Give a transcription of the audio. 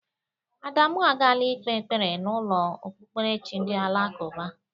Adamụ agala ikpe ekpere n'ụlọ okpukperechi ndị alakụba.